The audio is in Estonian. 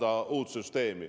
–, et luua uus süsteem.